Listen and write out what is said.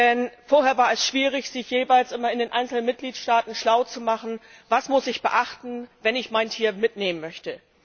Denn vorher war es schwierig, sich jeweils immer in den einzelnen Mitgliedstaaten schlau zu machen Was muss ich beachten, wenn ich mein Tier mitnehmen möchte?